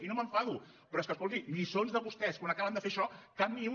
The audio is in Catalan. i no m’enfado però és que escolti lliçons de vostès quan acaben de fer això cap ni una